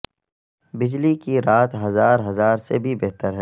بجلی کی رات ہزار ہزار سے بھی بہتر ہے